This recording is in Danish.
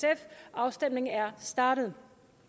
og afstemningen er startet